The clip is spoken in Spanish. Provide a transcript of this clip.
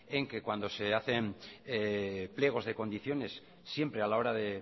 en que cuando se hacen pliegos de condiciones siempre a la hora de